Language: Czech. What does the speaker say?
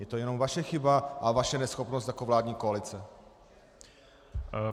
Je to jenom vaše chyba a vaše neschopnost jako vládní koalice.